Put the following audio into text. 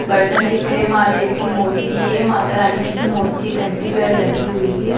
बर्तन दिख रहे महादेव की मूर्ति है माता रानी की मूर्ति घंटी भी और लगी हुई है।